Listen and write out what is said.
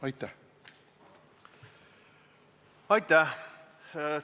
Aitäh!